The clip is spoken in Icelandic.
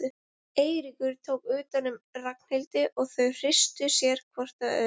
Eiríkur tók utan um Ragnhildi og þau þrýstu sér hvort að öðru.